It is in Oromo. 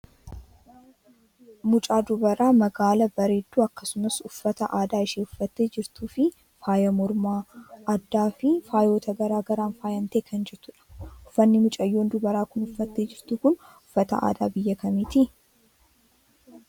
Mucaa dubaraa magaala bareedduu akkasumas uffata aadaashee uffattee jirtuufi faaya mormaa , addaafi faayota gara garaan faayamtee kan jirtudha. Uffanni mucayyoon dubaraa kun uffattee jirtu kun uffata aadaa biyya kamiiti?